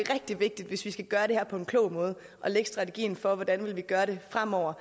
hvis vi skal gøre det her på en klog måde og lægge strategien for hvordan vi vil gøre det fremover